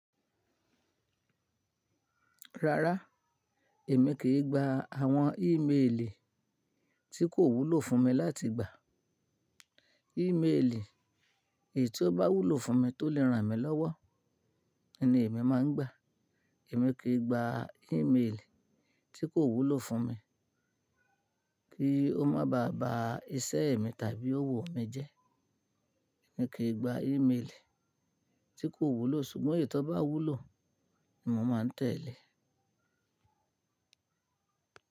Rárá, èmi kì í gba àwọn email tí kò wúlò fún mi láti gbà. Email èyí tí ó bá wúlò fún mi tó lè ràn mí lọ́wọ́ ni èmi máa ń gbà. Èmi kì í gba email tí kò wúlò fún mi kí ó má ba à ba iṣẹ́ mi tàbí òwò mi jẹ́. Èmi kì í gba email tí kò wúlò, ṣùgbọ́n èyí tó bá wúlò ni mo máa tẹ̀lé.